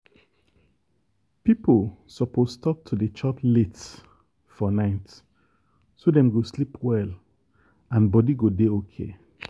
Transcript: people suppose stop to dey chop late for night so dem go sleep well and body go dey okay.